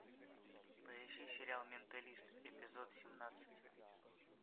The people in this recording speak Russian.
поищи сериал менталист эпизод семнадцать